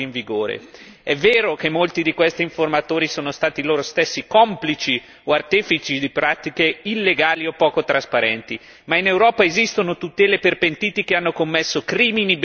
È vero che molti di questi informatori sono stati loro stessi complici o artefici di pratiche illegali e poco trasparenti, ma in Europa esistono tutele per pentiti che hanno commesso crimini ben più gravi.